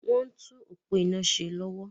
Wọ́n ń tún òpó iná ṣe lọ́wọ́.